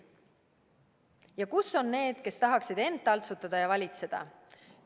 Ja kus on need, kes tahaksid iseend taltsutada ja valitseda?